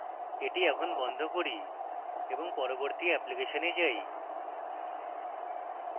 এটি এখন বন্ধ করি এবং পরবর্তী অ্যাপ্লিকেশনে যাই